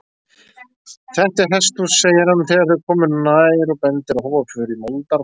Þetta er hesthús, segir hann þegar þau koma nær og bendir á hófaför í moldarflagi.